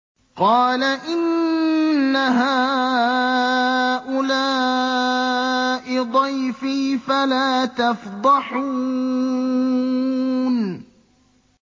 قَالَ إِنَّ هَٰؤُلَاءِ ضَيْفِي فَلَا تَفْضَحُونِ